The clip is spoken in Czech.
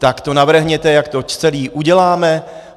Tak to navrhněte, jak to celé uděláme.